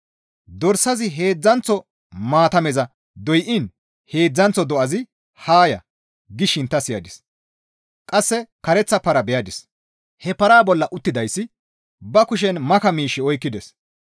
Dorsazi heedzdzanththo maatameza doyiin heedzdzanththo do7azi, «Haa ya!» gishin ta siyadis; qasse kareththa para beyadis; he paraa bolla uttidayssi ba kushen maka miish oykkides.